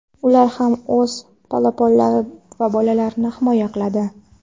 Ular ham o‘z polaponlari va bolalarini himoya qiladi.